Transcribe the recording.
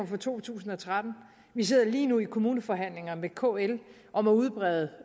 for to tusind og tretten vi sidder lige nu i kommuneforhandlinger med kl om at udbrede